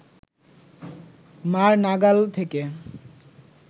মা’র নাগাল থেকে